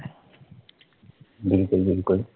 बिलकुल बिलकुल